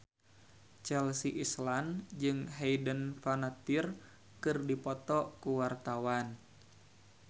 Chelsea Islan jeung Hayden Panettiere keur dipoto ku wartawan